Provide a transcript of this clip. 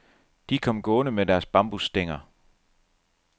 De kom gående med deres bambusstænger.